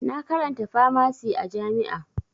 Na karanta famasi a jami'a